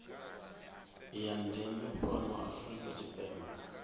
ya ndeme fhano afrika tshipembe